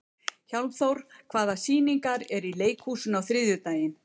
Hjálmþór, hvaða sýningar eru í leikhúsinu á þriðjudaginn?